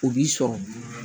O b'i sɔrɔ